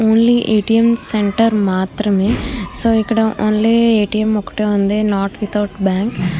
only A T M centre మాత్రమే so ఇక్కడ only A T M మాత్రమే ఉంది నాట్ విత్ అవుట్ బ్యాంకు --